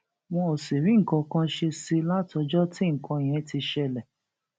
wọn ò sì rí nǹkan kan ṣe sí i i látọjọ tí nǹkan yẹn ti ń ṣẹlẹ